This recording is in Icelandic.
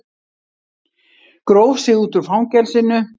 Gróf sig út úr fangelsinu